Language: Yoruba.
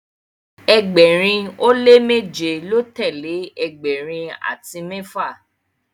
ẹgbẹrin o le meje lọ telee ẹgbẹrin ati mẹfa